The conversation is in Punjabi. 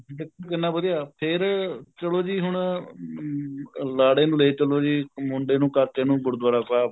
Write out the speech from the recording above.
ਦੇਖੋ ਕਿੰਨਾ ਵਧੀਆ ਫ਼ੇਰ ਚਲੋ ਜੀ ਹੁਣ ਅਹ ਲਾੜੇ ਨੂੰ ਲੈ ਚੱਲੋ ਜੀ ਮੁੰਡੇ ਨੂੰ ਕਾਕੇ ਨੂੰ ਗੁਰੂਦਵਾਰਾ ਸਾਹਿਬ